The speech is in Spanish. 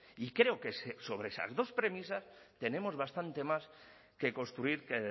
y creo que sobre esas dos premisas tenemos bastante más que construir que